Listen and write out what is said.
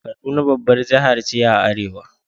Kaduna babbar jiha ce a arewa.